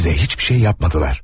Bize hiçbir şey yapmadılar.